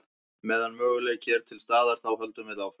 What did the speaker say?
Meðan möguleiki er til staðar þá höldum við áfram.